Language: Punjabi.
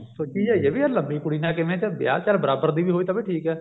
ਸੋਚੀ ਜਾਈਏ ਵੀ ਲੰਬੀ ਕੁੜੀ ਨਾਲ ਕਿਵੇਂ ਵਿਆਹ ਚੱਲ ਬਰਾਬਰ ਦੀ ਹੋਵੇ ਤਾਂ ਵੀ ਠੀਕ ਹੈ